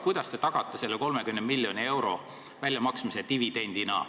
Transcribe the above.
Kuidas te tagate 30 miljoni euro väljamaksmise dividendina?